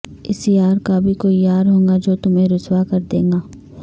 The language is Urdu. اس یار کا بھی کوئی یار ہوگا جو تمہیں رسوا کر دے گا